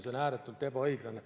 See on ääretult ebaõiglane.